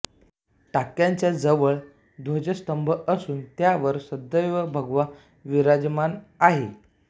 टाक्यांच्या जवळच ध्वजस्तंभ असून त्यावर सदैव भगवा विराजमान आहे